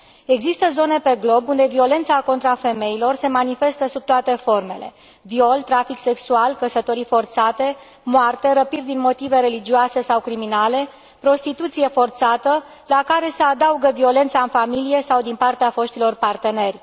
Există zone pe glob unde violența contra femeilor se manifestă sub toate formele viol, trafic sexual, căsătorii forțate, moarte, răpiri din motive religioase sau criminale, prostituție forțată, la care se adaugă violența în familie sau din partea foștilor parteneri.